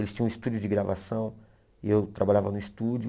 Eles tinham um estúdio de gravação e eu trabalhava no estúdio.